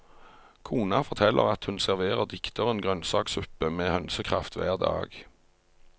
Kona forteller at hun serverer dikteren grønnsaksuppe med hønsekraft hver dag.